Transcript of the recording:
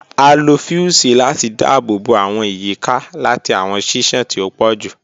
A lo fiusi lati daabobo awọn iyika lati awọn ṣiṣan ti o pọ ju